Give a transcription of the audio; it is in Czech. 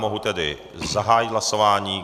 Mohu tedy zahájit hlasování.